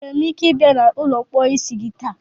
Enwere m ike ịbịa na ụlọ mposi gị taa?